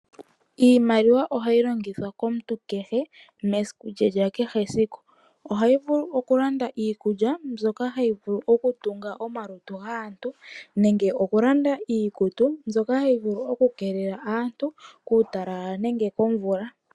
Iimaliwa ohayi longithwa komuntu kehe mesiku lye lyakehe esiku. Ohayi vulu okulanda iikulya mbyoka hayi vulu okutunga omalutu gaantu nenge okulanda iikutu mbyoka hayi vulu oku kelela aantu kuutalala nenge komvula.